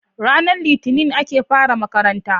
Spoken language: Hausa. Ranar Litinin ake fara makaranta.